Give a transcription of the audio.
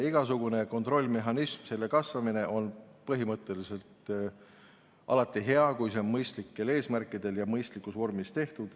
Igasugune kontrollmehhanism ja selle kasvatamine on põhimõtteliselt alati hea, kui seda tehakse mõistlikel eesmärkidel ja mõistlikus vormis.